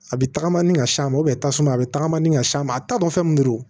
A bɛ tagama ni ka s'a ma tasuma bɛ tagama ni ka s'a ma a t'a dɔn fɛn min do